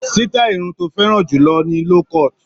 Sítáì irun tó fẹ́ràn jù lọ ni low cut.